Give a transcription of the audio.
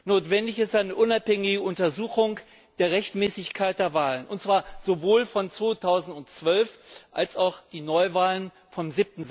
Notwendig ist eine unabhängige Untersuchung der Rechtmäßigkeit der Wahlen, und zwar sowohl der Wahl von 2012 als auch der Neuwahl vom